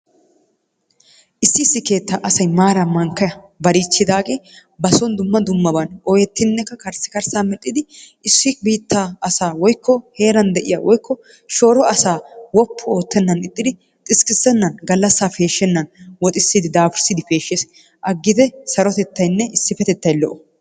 Issi issi keetta asay maara mankka balichchidaage ba soon dumma dummaban ooyettinekka karissikarssa medhdhidi issi biittaa asaa woykko heeran de'iyaa woykko shooro asaa woppu oottenan ixxiri xiskkissennan galassa peeshshennan woxxisside daafurisside peeshshees. aggite sarotettaynne issipetettay lo''o.